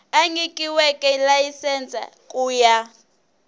a nyikiweke layisense ku ya